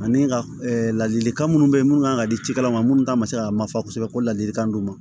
Ani ka ladilikan minnu be yen minnu kan ka di cikɛla ma minnu ta man se ka mafa kosɛbɛ ko ladilikan d'u ma